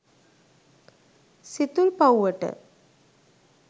සිතුල්පව්වට.